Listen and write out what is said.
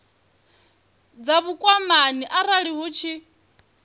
dza vhukwamani arali hu tshi